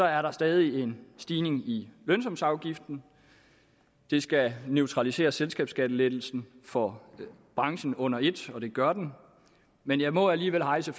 er der stadig en stigning i lønsumsafgiften det skal neutralisere selskabsskattelettelsen for branchen under et og det gør den men jeg må alligevel hejse